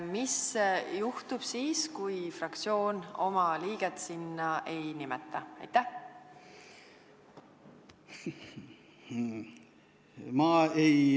Mis juhtub siis, kui fraktsioon oma liiget sinna ei nimeta?